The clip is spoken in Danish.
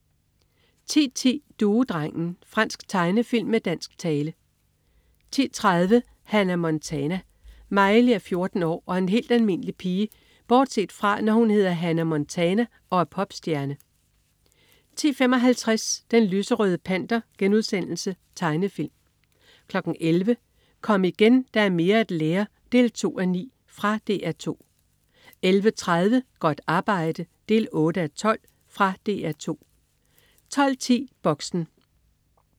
10.10 Duedrengen. Fransk tegnefilm med dansk tale 10.30 Hannah Montana. Miley er 14 år og en helt almindelig pige bortset fra, når hun hedder Hannah Montana og er popstjerne 10.55 Den lyserøde panter.* Tegnefilm 11.00 Kom igen, der er mere at lære 2:9. Fra DR 2 11.30 Godt arbejde 8:12. Fra DR 2 12.10 Boxen